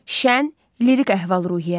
Şən, lirik əhval-ruhiyyə.